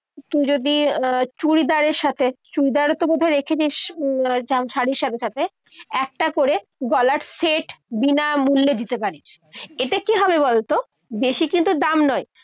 তুই যদি চুড়িদারের সাথে চুড়িদার কোথাও রেখে দিস শাড়ির সাথে সাথে একটা করে গলার set বিনামূল্যে দিতে পারিস। এতে কি হবে বলতো বেশি কিন্তু দাম নয়।